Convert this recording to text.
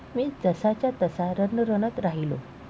मी जसाच्या तसा रणरणत राहिलो!